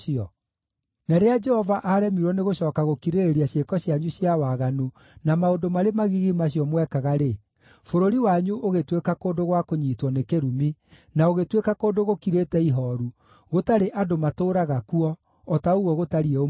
Na rĩrĩa Jehova aaremirwo nĩ gũcooka gũkirĩrĩria ciĩko cianyu cia waganu na maũndũ marĩ magigi macio mwekaga-rĩ, bũrũri wanyu ũgĩtuĩka kũndũ gwa kũnyiitwo nĩ kĩrumi, na ũgĩtuĩka kũndũ gũkirĩte ihooru, gũtarĩ andũ matũũraga kuo, o ta ũguo gũtariĩ ũmũthĩ.